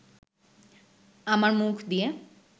আমার মুখ দিয়ে